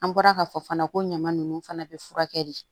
An bɔra ka fɔ fana ko ɲama nunnu fana be furakɛ de